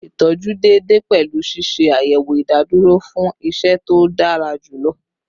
Itọju deede pẹlu ṣiṣe ayẹwo idaduro fun iṣẹ to dara julọ